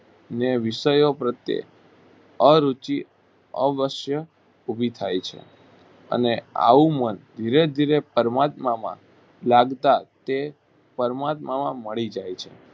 ને વિષયો પ્રત્યે અરુચિ અવશ્ય ઊભી થાય છે અને આવું મન ધીરે -ધીરે પરમાત્મામાં લાગતા તે પરમાત્મામાં મળી જાય છે